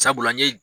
Sabula n ye